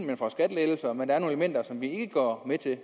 man får skattelettelser men der er nogle elementer som vi ikke går med til